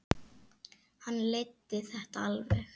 Hann leiddi þetta alveg.